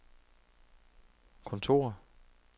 kontor